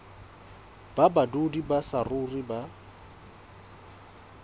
ba badudi ba saruri ba